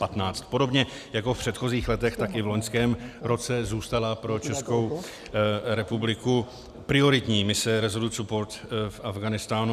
Podobně jako v předchozích letech, tak i v loňském roce zůstala pro Českou republiku prioritní mise Resolute Support v Afghánistánu.